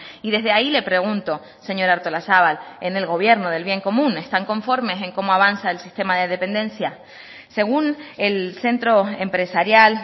y desde ahí le pregunto señora artolazabal en el gobierno del bien común están conformes en cómo avanza el sistema de dependencia según el centro empresarial